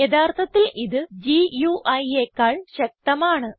യഥാർത്ഥത്തിൽ ഇത് GUIയെക്കാൾ ശക്തമാണ്